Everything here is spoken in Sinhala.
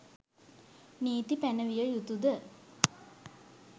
නීති පැනවිය යුතු ද?